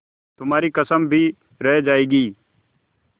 तुम्हारी कसम भी रह जाएगी